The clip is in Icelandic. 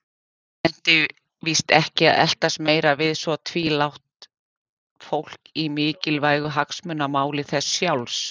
Nennti víst ekki að eltast meira við svo tvílrátt fólk í mikilvægu hagsmunamáli þess sjálfs.